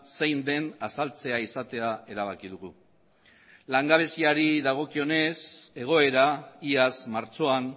zein den azaltzea izatea erabaki dugu langabeziari dagokionez egoera iaz martxoan